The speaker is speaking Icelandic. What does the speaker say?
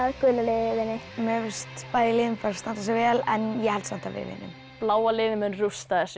gula liðið vinni mér finnst bæði liðin standa sig vel en ég held samt að við vinnum bláa liðið mun rústa þessu